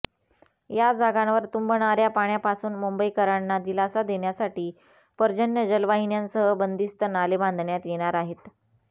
या जागांवर तुंबणार्या पाण्यापासून मुंबईकरांना दिलासा देण्यासाठी पर्जन्य जलवाहिन्यांसह बंदिस्त नाले बांधण्यात येणार आहेत